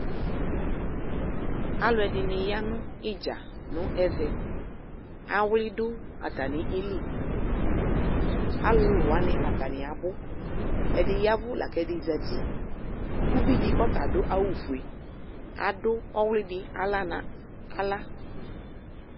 Alʋɛdɩnɩ ya nʋ ɩdza nʋ ɛvɛ :awlɩ dʋ atamili; alʋlʋ wanɩ atanɩ abʋ Ɛdɩ yavʋ , lak'ɛdɩ zati ; uvidɩ k'ɔta adʋ awʋfue adʋ ɔwlɩdɩ aɣla na aɣla